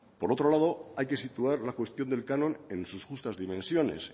por otro lado hay que situar la cuestión del canon en sus justas dimensiones